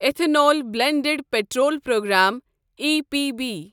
ethanol blended petrol programme E B P